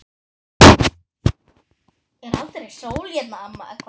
Er aldrei sól hérna, amma?